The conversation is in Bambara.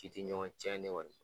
K'i ti ɲɔgɔn cɛ ne kɔni